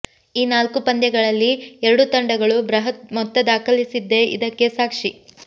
ಈ ನಾಲ್ಕೂ ಪಂದ್ಯಗಳಲ್ಲಿ ಎರಡೂ ತಂಡಗಳು ಬೃಹತ್ ಮೊತ್ತ ದಾಖಲಿಸಿದ್ದೇ ಇದಕ್ಕೆ ಸಾಕ್ಷಿ